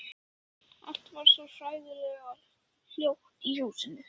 Allt varð svo hræðilega hljótt í húsinu.